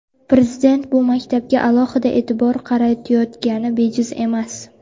Prezident bu maktabga alohida e’tibor qaratayotgani bejiz emas.